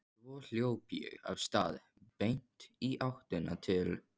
Svo hljóp ég af stað beint í áttina til